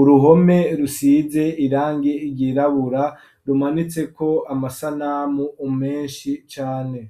uruhome rusize irangi ryirabura rimanitseko amasanamu menshi cane.